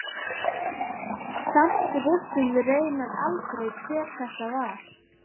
Samt vissum við raunar aldrei hver þetta var.